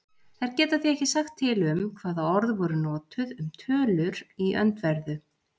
Þær geta því ekki sagt til um hvaða orð voru notuð um tölur í öndverðu.